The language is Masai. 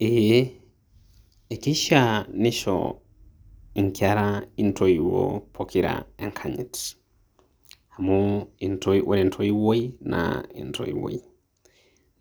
Ee. Ekeishaa nisho inkera intoiwuo pokira enkanyit. Amu ore entoiwuoi na entoiwuoi.